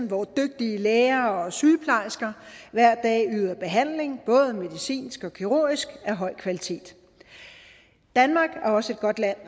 hvor dygtige læger og sygeplejersker hver dag yder behandling både medicinsk og kirurgisk af høj kvalitet danmark er også et godt land